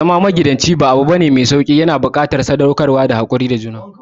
Zama magidanci ba abune mai sauƙi ba, yana buƙatar haƙuri da sadaukarwa.